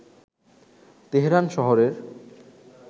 Tehran শহরের